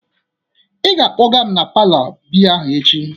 Ị ga-akpọga m na palour biya ahụ echi!